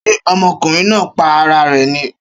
Ṣé ọmọkùnrin náà pa ara rè ni?